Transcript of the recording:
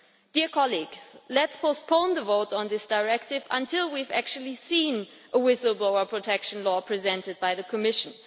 Dear colleagues, let us postpone the vote on this directive until we have actually seen a whistle blower protection law presented by the Commission.